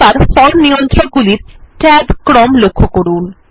এবার ফর্ম নিয়ন্ত্রক গুলির Tab ক্রম লক্ষ্য করুন